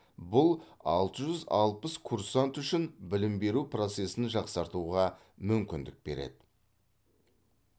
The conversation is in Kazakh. бұл алты жүз алпыс курсант үшін білім беру процесін жақсартуға мүмкіндік береді